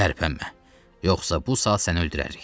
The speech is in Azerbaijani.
Tərpənmə, yoxsa bu saat səni öldürərik.